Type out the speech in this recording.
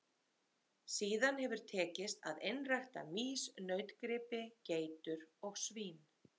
Síðan hefur tekist að einrækta mýs, nautgripi, geitur og svín.